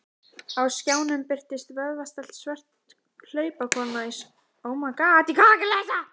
Á skjánum birtist vöðvastælt svört hlaupakona í spretthlaupi.